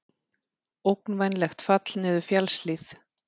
Ógnvænlegt fall niður fjallshlíð